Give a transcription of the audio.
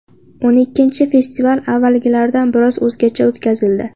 O‘n ikkinchi festival avvalgilardan biroz o‘zgacha o‘tkazildi.